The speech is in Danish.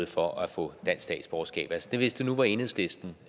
for at få dansk statsborgerskab altså hvis det nu var enhedslisten